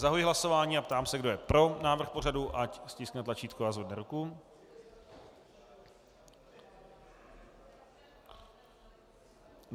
Zahajuji hlasování a ptám se, kdo je pro návrh pořadu, ať stiskne tlačítko a zvedne ruku.